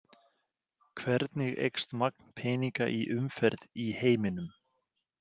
Hvernig eykst magn peninga í umferð í heiminum?